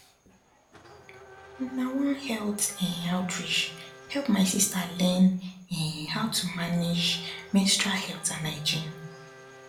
na one health um outreach help my sister learn um how to manage menstrual health and hygiene um